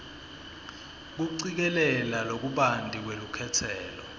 kucikelela lokubanti lwelukhetselo